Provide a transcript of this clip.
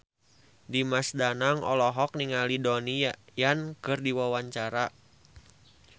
Dimas Danang olohok ningali Donnie Yan keur diwawancara